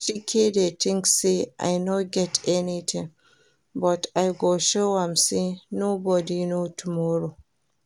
Chike dey think say I no get anything but I go show am say nobody know tomorrow